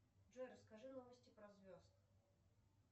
джой расскажи новости про звезд